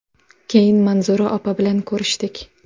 Keyin Manzura opa bilan ko‘rishdik.